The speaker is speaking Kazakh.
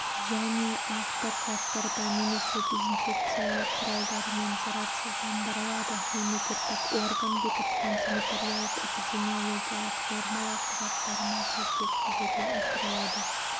және автоклавтарда немесе дезинфекциялау құралдарымен зарарсыздандырылады мемлекеттік орган бекіткен санитариялық-эпидемиологиялық нормалау құжаттарына сәйкес жүзеге асырылады